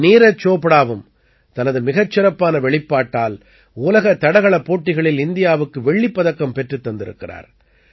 நீரஜ் சோப்ராவும் தனது மிகச் சிறப்பான வெளிப்பாட்டால் உலக தடகளப் போட்டிகளில் இந்தியாவுக்கு வெள்ளிப் பதக்கம் பெற்றுத் தந்திருக்கிறார்